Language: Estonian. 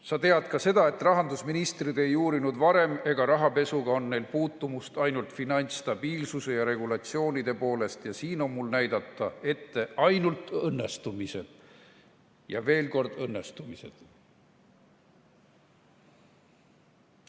Sa tead ka seda, et rahandusministrid ei uurinud ka varem ja rahapesuga on neil puutumust ainult finantsstabiilsuse ja regulatsioonide poolest ja siin on mul ette näidata õnnestumised ja ainult õnnestumised.